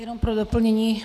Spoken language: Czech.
Jenom pro doplnění.